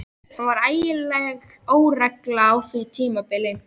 Það var ægileg óregla á því tímabili.